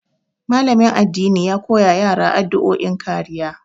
Malamin addini ya koya wa yara addu'o'in kariya.